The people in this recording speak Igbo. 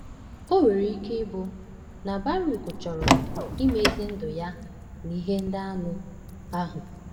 O nwere ike ịbụ na Bàrùk chọọrọ imezi ndụ ya n’ihe ndị anụ ahụ.